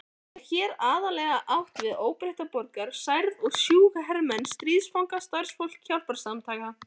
Er hér aðallega átt við óbreytta borgara, særða og sjúka hermenn, stríðsfanga og starfsfólk hjálparsamtaka.